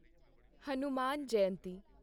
Hanuman Jayanti